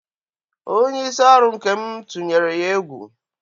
Onye isi ọrụ Nkem tunyere ya egwu.